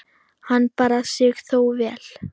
Hann bar sig þó vel.